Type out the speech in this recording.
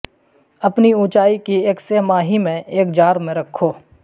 اپنی اونچائی کی ایک سہ ماہی میں ایک جار میں رکھو